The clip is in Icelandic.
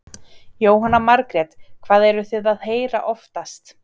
Jóhanna Margrét: Hvað eruð þið að heyra oftast?